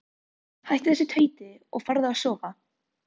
Hættu þessu tauti og farðu að sofa.